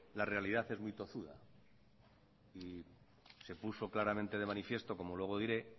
la realidad es muy tozuda y se puso claramente de manifiesto como luego diré